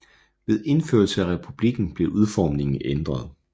Ved indførelse af republikken blev udformingen ændret